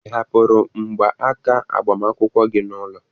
Ị hapụrụ mgba aka agbamakwụkwọ gị n'ụlọ?